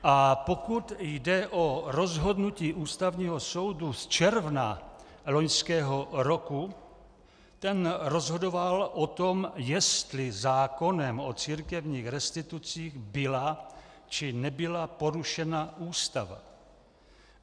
A pokud jde o rozhodnutí Ústavního soudu z června loňského roku, ten rozhodoval o tom, jestli zákonem o církevních restitucích byla, či nebyla porušena Ústava.